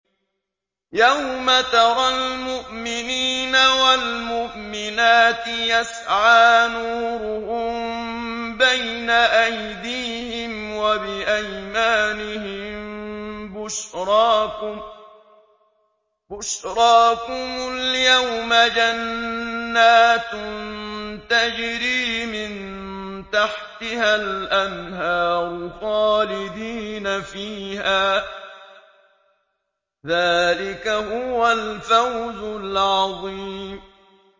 يَوْمَ تَرَى الْمُؤْمِنِينَ وَالْمُؤْمِنَاتِ يَسْعَىٰ نُورُهُم بَيْنَ أَيْدِيهِمْ وَبِأَيْمَانِهِم بُشْرَاكُمُ الْيَوْمَ جَنَّاتٌ تَجْرِي مِن تَحْتِهَا الْأَنْهَارُ خَالِدِينَ فِيهَا ۚ ذَٰلِكَ هُوَ الْفَوْزُ الْعَظِيمُ